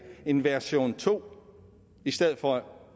en version to i stedet for